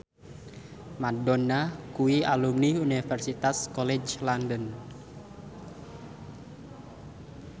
Madonna kuwi alumni Universitas College London